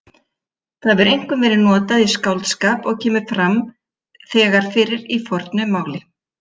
Það hefur einkum verið notað í skáldskap og kemur þegar fyrir í fornu máli.